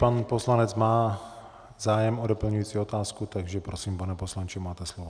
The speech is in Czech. Pan poslanec má zájem o doplňující otázku, takže prosím, pane poslanče, máte slovo.